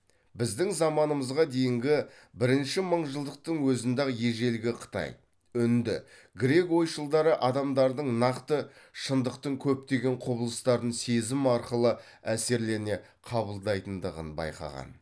біздің заманымызға дейінгі бірінші мыңжылдықтың өзінде ақ ежелгі қытай үнді грек ойшылдары адамдардың нақты шындықтың көптеген құбылыстарын сезім арқылы әсерлене қабылдайтындығын байқаған